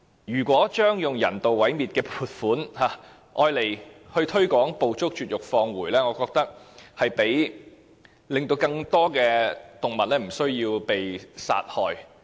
如果將用人道毀滅的撥款用作推廣"捕捉、絕育、放回"計劃，我認為將可令更多動物免於被殺害。